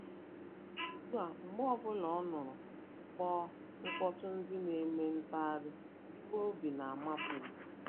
Ugbu a, mgbe ọ bụla ọ nụrụ mkpọtụ́ndị nq-eme ntagharị iwe obi na-amapụ ya.